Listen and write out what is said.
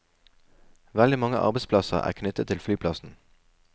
Veldig mange arbeidsplasser er knyttet til flyplassen.